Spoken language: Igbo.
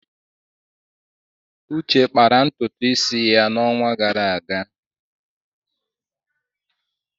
Uche kpara ntutu isi ya n'ọnwa gara aga.